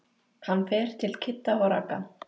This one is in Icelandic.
Hann fer til Kidda og Ragga.